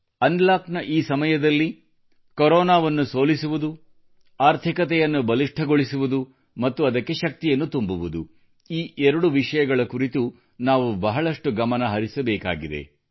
ಅನ್ಲಾಕ್ನ ಈ ಸಮಯದಲ್ಲಿ ಕೊರೋನಾವನ್ನು ಸೋಲಿಸುವುದು ಆರ್ಥಿಕತೆಯನ್ನು ಬಲಿಷ್ಠಗೊಳಿಸುವುದು ಮತ್ತು ಅದಕ್ಕೆ ಶಕ್ತಿಯನ್ನು ತುಂಬುವುದು ಈ ಎರಡು ವಿಷಯಗಳ ಕುರಿತು ನಾವು ಬಹಳಷ್ಟು ಗಮನ ಹರಿಸಬೇಕಾಗಿದೆ